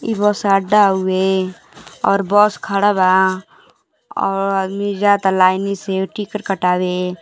ई bus अड्डा हउए और बस खड़ा बा और आदमी जाता लाइन से टिकट कटावे।